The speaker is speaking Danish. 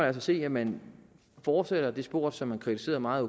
altså se at man fortsætter i det spor som man kritiserede meget